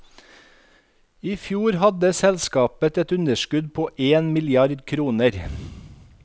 I fjor hadde selskapet et underskudd på en milliard kroner.